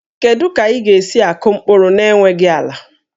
Kedu ka ị ga-esi akụ mkpụrụ n'enweghị ala?